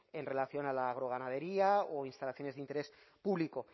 en relación al agroganadería o instalaciones de interés público